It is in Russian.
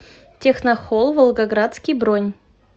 техно холл волгоградский бронь